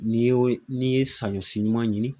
N'i y'o n'i ye saɲɔ si ɲuman ɲini